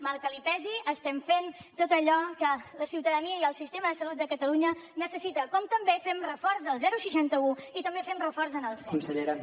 mal que li pesi estem fent tot allò que la ciutadania i el sistema de salut de catalunya necessita com també fem reforç al seixanta un i també fem reforç en el sem